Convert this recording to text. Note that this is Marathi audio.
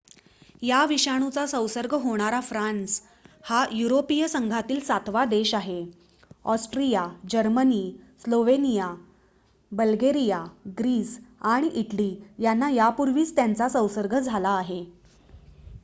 या विषाणूचा संसर्ग होणारा फ्रान्स हा युरोपिय संघातील सातवा देश आहे Austria Germany Slovenia Bulgaria Greece आणि इटली यांना यापूर्वीच त्याचा संसर्ग झाला आहे